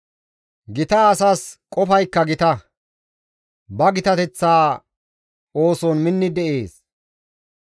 Gita asas qofaykka gita; ba gitateththa ooson minni de7ees.